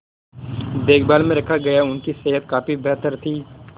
देखभाल में रखा गया उनकी सेहत काफी बेहतर थी